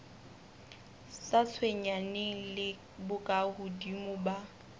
sa tshwenyaneng le bokahodimo ba